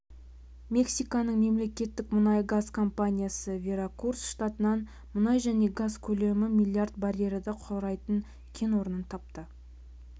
мексиканың мемлекеттік мұнай-газ компаниясы веракрус штатынан мұнай және газ көлемі млрд баррелді құрайтын кен орнын тапты